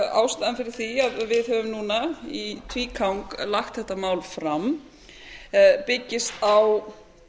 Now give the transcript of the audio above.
ástæðan fyrir því að við höfum núna í tvígang lagt þetta mál fram byggist á